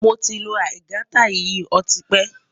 Moti n lo aigaita yìí ọtí pẹ